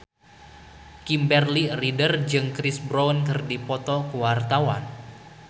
Kimberly Ryder jeung Chris Brown keur dipoto ku wartawan